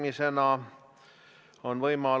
Te olete majandusasjades kindlasti targem kui Jüri Ratas.